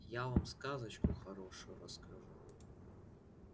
я вам сказочку хорошую расскажу